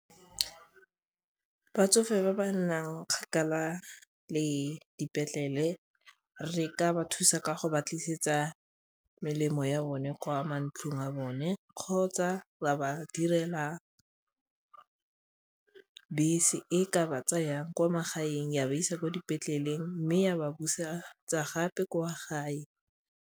Batsofe ba ba nnang kgakala le dipetlele re ka ba thusa ka go ba tlisetsa melemo ya bone kwa mantlong a bone kgotsa ra ba direla bese e ka ba tsayang kwa magaeng ya ba isa kwa dipetleleng mme ya ba busetsa gape kwa gae.